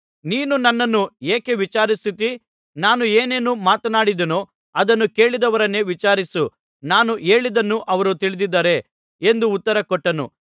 ನೀನು ನನ್ನನ್ನು ಯಾಕೆ ವಿಚಾರಿಸುತ್ತೀ ನಾನು ಏನೇನು ಮಾತನಾಡಿದೆನೋ ಅದನ್ನು ಕೇಳಿದವರನ್ನೇ ವಿಚಾರಿಸು ನಾನು ಹೇಳಿದ್ದನ್ನು ಅವರು ತಿಳಿದಿದ್ದಾರೆ ಎಂದು ಉತ್ತರಕೊಟ್ಟನು